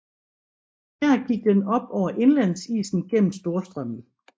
Her gik den op over indlandsisen gennem Storstrømmen